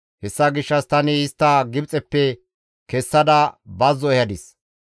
«Hessa gishshas tani istta Gibxeppe kessada bazzo ehadis.